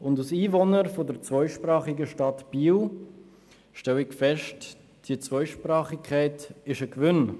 Als Einwohner der zweisprachigen Stadt Biel, stelle ich fest, dass diese Zweisprachigkeit ein Gewinn ist.